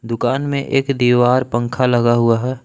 दुकान में एक दीवार पंखा लगा हुआ है।